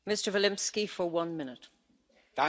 Frau Präsidentin, meine sehr geehrten Damen und Herren!